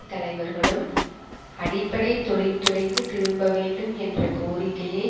தலைவர்களும் அடிப்படை தொழிற்துறைக்கு திரும்ப வேண்டும் என்ற கோரிக்கையை